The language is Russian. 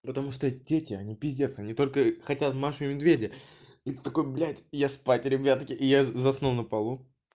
потому что дети они пиздец они только хотят машу и медведя и ты такой блядь я спать ребятки и я заснул на полу